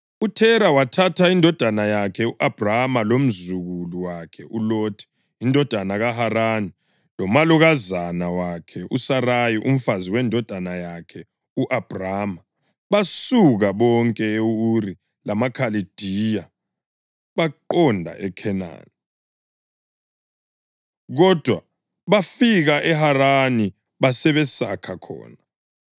UThera wathatha indodana yakhe u-Abhrama, lomzukulu wakhe uLothi indodana kaHarani, lomalokazana wakhe uSarayi umfazi wendodana yakhe u-Abhrama, basuka bonke e-Uri lamaKhaladiya baqonda eKhenani. Kodwa bafika eHarani basebesakha khona.